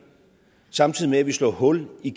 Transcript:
samtidig med at vi slår hul i